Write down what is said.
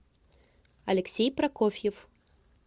алексей прокофьев